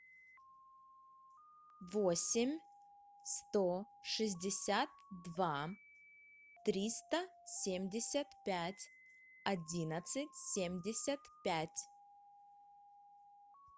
восемь сто шестьдесят два триста семьдесят пять одиннадцать семьдесят пять